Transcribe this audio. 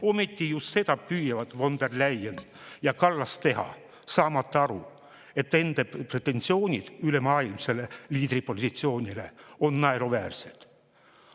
Ometi just seda püüavad von der Leyen ja Kallas teha, saamata aru, et nende pretensioonid ülemaailmse liidri positsiooni on naeruväärsed.